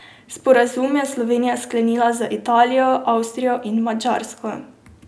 Sporazume je Slovenija sklenila z Italijo, Avstrijo in Madžarsko.